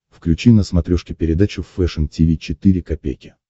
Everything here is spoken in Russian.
включи на смотрешке передачу фэшн ти ви четыре ка